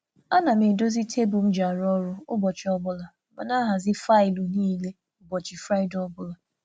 A na m edozi tebụl m ji arụ ọrụ ụbọchị ọbụla ma na ahazi faịlụ niile ụbọchị Fraịdee ọbụla.